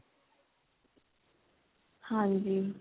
ਹਾਂਜੀ